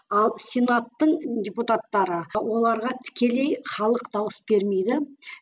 ал сенаттың депутаттары оларға тікелей халық дауыс бермейді